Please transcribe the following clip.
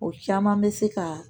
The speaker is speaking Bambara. O caman bɛ se ka